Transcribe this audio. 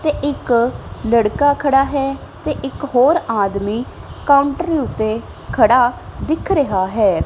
ਤੇ ਇੱਕ ਲੜਕਾ ਖੜਾ ਹੈ ਤੇ ਇੱਕ ਹੋਰ ਆਦਮੀਂ ਕਾਉੰਟਰ ਓੱਤੇ ਖੜਾ ਦਿੱਖ ਰਿਹਾ ਹੈ।